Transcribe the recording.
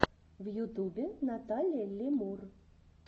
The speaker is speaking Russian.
в ютубе наталия лемур